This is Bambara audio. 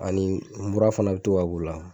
Ani mura fana bi to ka k'ula